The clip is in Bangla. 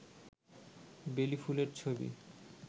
বেলি ফুলের ছবি